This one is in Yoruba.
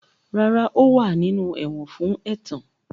Rara, o wa ninu ẹwọn fun ẹtan.